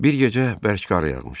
Bir gecə bərk qar yağmışdı.